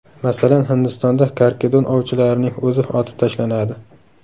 Masalan, Hindistonda karkidon ovchilarining o‘zi otib tashlanadi.